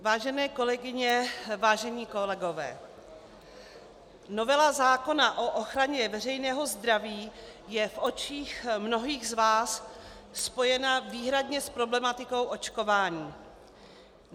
Vážené kolegyně, vážení kolegové, novela zákona o ochraně veřejného zdraví je v očích mnohých z vás spojena výhradně s problematikou očkování.